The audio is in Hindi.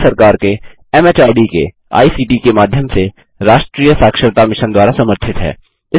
यह भारत सरकार के एमएचआरडी के आईसीटी के माध्यम से राष्ट्रीय साक्षरता मिशन द्वारा समर्थित है